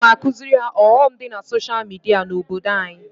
Aga m akuziri ha ọghọm di na social media na obodo anyi